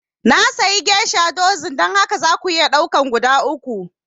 Na sayi geisha dozin, don haka za ku iya ɗaukar guda uku